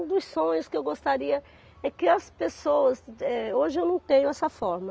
Um dos sonhos que eu gostaria é que as pessoas, eh, hoje eu não tenho essa forma.